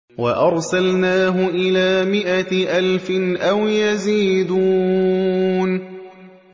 وَأَرْسَلْنَاهُ إِلَىٰ مِائَةِ أَلْفٍ أَوْ يَزِيدُونَ